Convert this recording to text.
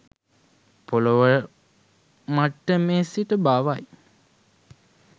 පොළොව මට්ටමේ සිට බවයි